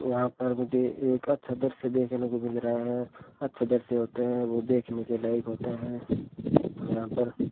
यहां पर मुझे एक अच्छा दृश्य देखने को मिल रहा है अच्छा दृश्य होते है वो देखने के लायक होता है यहां पर --